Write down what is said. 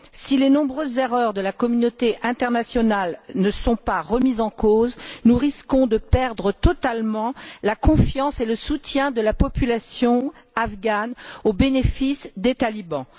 Si les nombreuses erreurs de la communauté internationale ne sont pas remises en cause, nous risquons de perdre totalement la confiance et le soutien de la population afghane au bénéfice des talibans.